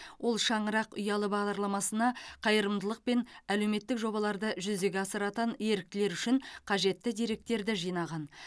ол шаңырақ ұялы бағдарламасына қайырымдылық пен әлеуметтік жобаларды жүзеге асыратын еріктілер үшін қажетті деректерді жинаған